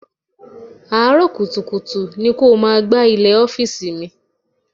Àárọ̀ kùtùkùtù ni kó o máa gbá ilẹ̀ ọ́fíìsì mi.